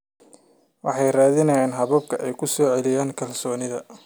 Waxay raadiyeen habab ay ku soo celiyaan kalsoonida.